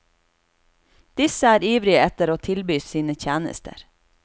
Disse er ivrige etter å tilby sine tjenester.